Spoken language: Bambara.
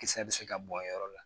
Kisɛ bɛ se ka bɔ a yɔrɔ la